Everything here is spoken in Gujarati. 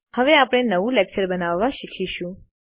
હવે આપણે નવું લેકચર બનાવતા શીખીશું